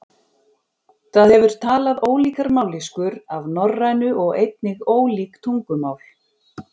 Það hefur talað ólíkar mállýskur af norrænu og einnig ólík tungumál.